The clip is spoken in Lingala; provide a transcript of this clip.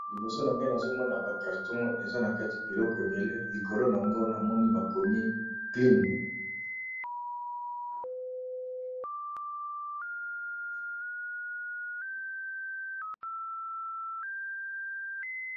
Liboso na nga nazo mona ba carton eza na kati biloko ebele, likolo nango na moni bakomi Klin.